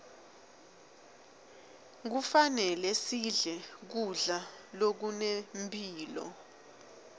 kufanele sidle kudla lokunemphilo